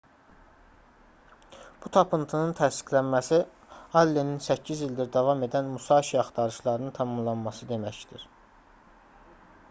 bu tapıntının təsdiqlənməsi allenin 8 ildir davam edən musaşi axtarışlarının tamamlanması deməkdir